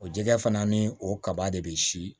O jɛgɛ fana ni o kaba de bɛ si